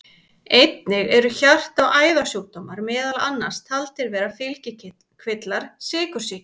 Einnig eru hjarta- og æðasjúkdómar meðal annars taldir vera fylgikvillar sykursýki.